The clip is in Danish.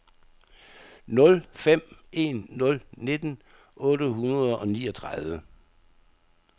nul fem en nul nitten otte hundrede og niogtredive